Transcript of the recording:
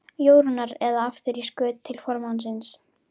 Jórunnar, eða aftur í skut til formannsins.